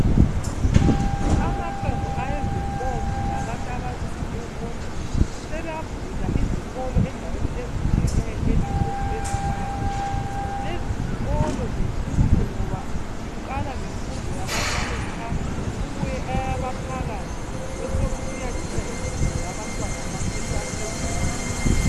Amaqembu ezinkonzo labantu abazimele bodwa sebavula izikolo endaweni ezitshiyeneyo elizweni lezimbabwe. Lezizikolo zinkulu ngoba ziqala ngemfundo yabancane qha kubuye eyaphakathi kube sokusiyecina imfundo yaphezulu.